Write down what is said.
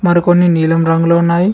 మరి కొన్ని నీలం రంగులో ఉన్నాయి.